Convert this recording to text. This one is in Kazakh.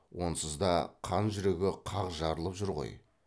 онсыз да қан жүрегі қақ жарылып жүр ғой